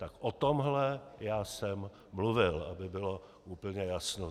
Tak o tomhle já jsem mluvil, aby bylo úplně jasno.